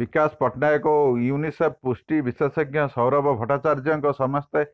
ବିକାଶ ପଟ୍ଟନାୟକ ଓ ୟୁନିସେଫ୍ର ପୁଷ୍ଟି ବିଶେଷଜ୍ଞ ସୌରଭ ଭଟ୍ଟାଚାର୍ଯ୍ୟଙ୍କ ସମେତ